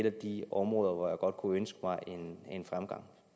af de områder hvor jeg godt kunne ønske mig en fremgang